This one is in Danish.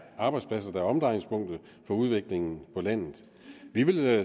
arbejdspladser der er omdrejningspunktet for udviklingen på landet vi vil